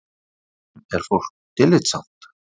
Stundum er fólk tillitssamt